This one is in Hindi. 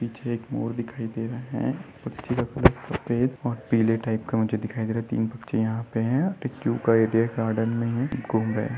पीछे एक मोर दिखाई दे रहे है सफ़ेद और पीले टाइप का मुझे दिखाई दे रहा है यहाँ पर अउ एक --